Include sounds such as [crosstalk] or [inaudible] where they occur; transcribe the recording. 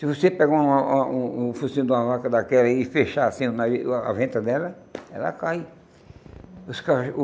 Se você pegar [unintelligible] um um o focinho de uma vaca daquela e fechar assim o na a venta dela, ela cai. [unintelligible]